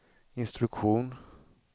instruktion